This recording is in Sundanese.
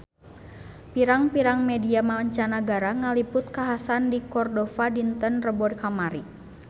Pirang-pirang media mancanagara ngaliput kakhasan di Cordova dinten Rebo kamari